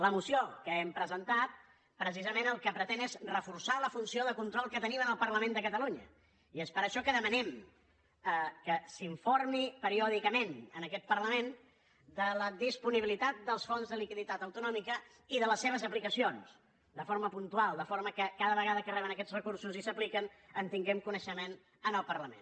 la moció que hem presentat precisament el que pretén és reforçar la funció de control que tenim al parlament de catalunya i és per això que demanem que s’informi periòdicament aquest parlament de la disponibilitat dels fons de liquiditat autonòmica i de les seves aplicacions de forma puntual de forma que cada vegada que reben aquests recursos i s’apliquen en tinguem coneixement al parlament